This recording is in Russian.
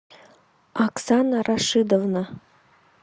оксана рашидовна